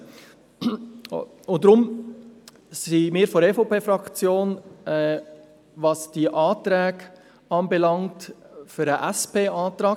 Deshalb ist die EVP-Fraktion für den Antrag der SP-JUSO-PSA-Fraktion.